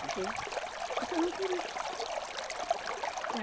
Que? Porque eu não queria.